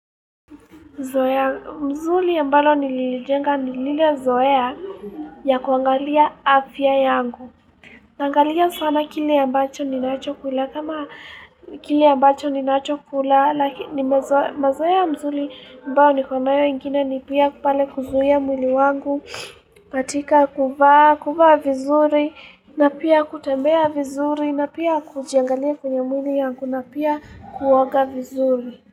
Mzuri ambalo nilijenga nilile zoea ya kuangalia afya yangu. Naangalia sana kile ambacho ni nacho kula. Kama kile ambacho ni nacho kula. Laki mazoea mzuri ambao nikonayo ingine ni pia pale kuzuia mwili wangu. Matika kuvaa vizuri na pia kutembea vizuri na pia kujiangalia kwenye mwili yangu na pia kuoga vizuri.